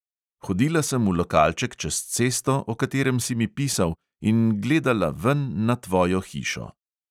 Hodila sem v lokalček čez cesto, o katerem si mi pisal, in gledala ven na tvojo hišo.